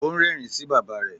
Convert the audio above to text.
Ó ń rẹ́rìn-ín sí bàbá rẹ̀.